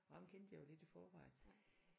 Og ham kendte jeg jo lidt i forvejen